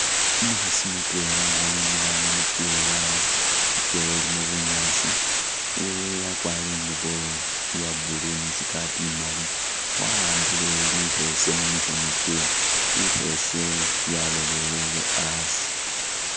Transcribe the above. Umukhaasi mutwela nga emile ano mukewa ikewa ilimo bunyaasi wee akwarire ingubo iya blue ne i'skirt imali waambile likheese mumikhono kye likheese lyalolele asi